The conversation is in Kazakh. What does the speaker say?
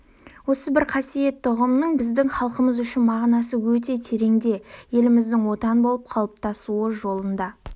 осы бір қасиетті ұғымның біздің халқымыз үшін мағынасы өте тереңде еліміздің отан болып қалыптасуы жолында